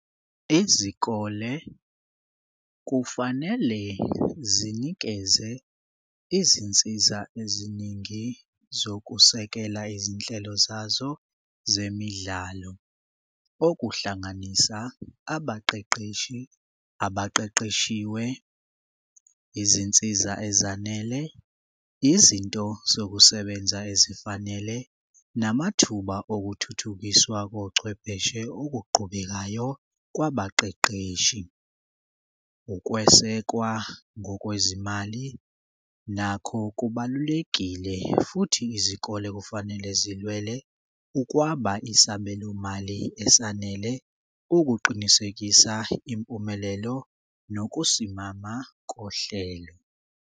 Izikole kufanele zinikeze izinsiza eziningi zokusekela izinhlelo zazo zemidlalo okuhlanganisa abaqeqeshi, abaqeqeshiwe, izinsiza ezanele, izinto zokusebenza ezifanele, namathuba okuthuthukiswa kochwepheshe okuqhubekayo kwabaqeqeshi. Ukwesekwa ngokwezimali nakho kubalulekile futhi izikole kufanele zilwele ukwaba isabelomali esanele ukuqinisekisa impumelelo nokusimama kohlelo.